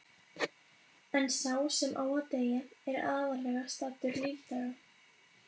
En sá sem á að deyja er aðallega saddur lífdaga.